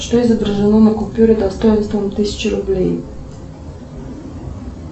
что изображено на купюре достоинством тысяча рублей